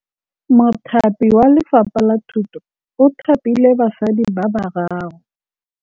Mothapi wa Lefapha la Thutô o thapile basadi ba ba raro.